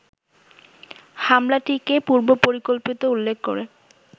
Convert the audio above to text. হামলাটিকে পূর্বপরিকল্পিত উল্লেখ করে